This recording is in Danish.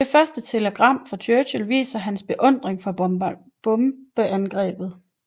Det første telegram fra Churchill viser hans beundring for bombeangrebet